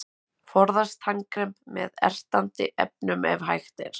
Forðast tannkrem með ertandi efnum ef hægt er.